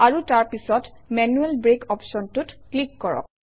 আৰু তাৰ পিছত মেনুৱেল ব্ৰেক অপশ্যনটোত ক্লিক কৰক